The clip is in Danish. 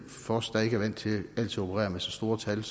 for os der ikke er vant til altid at operere med så store tal